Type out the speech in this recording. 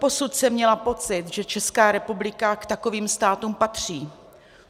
Doposud jsem měla pocit, že Česká republika k takovým státům patří.